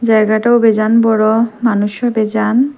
জায়গাটাও বেজান বড়ো মানুষও বেজান।